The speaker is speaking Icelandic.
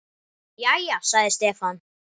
Jæja, sagði Stefán.